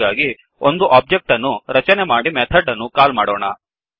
ಹಾಗಾಗಿ ಒಂದು ಒಬ್ಜೆಕ್ಟ್ ಅನ್ನು ರಚನೆ ಮಾಡಿ ಮೆಥಡ್ ಅನ್ನು ಕಾಲ್ ಮಾಡೋಣ